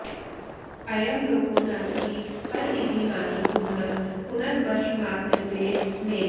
अयं लोको नास्ति पर इति मानी पुनः पुनर्वशमापद्यते मे